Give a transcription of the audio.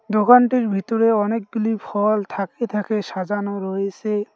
দোকানটির ভিতরে অনেকগুলি ফল থাকে থাকে সাজানো রয়েসে।